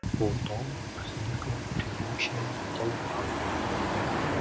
потом возникла ревущая толпа